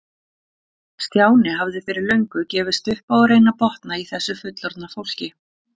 Stjáni hafði fyrir löngu gefist upp á að reyna að botna í þessu fullorðna fólki.